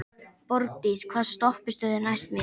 Borgdís, hvaða stoppistöð er næst mér?